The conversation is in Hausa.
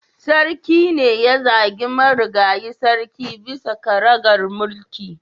Sarki ne ya zagi marigayi sarki bisa karagar mulki